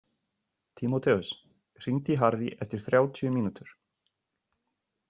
Tímoteus, hringdu í Harrý eftir þrjátíu mínútur.